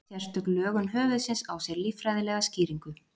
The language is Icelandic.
sérstök lögun höfuðsins á sér líffræðilega skýringu